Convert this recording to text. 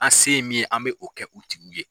An se min ye an bɛ o kɛ u tigiw ye.